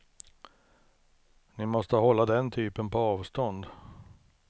Ni måste hålla den typen på avstånd.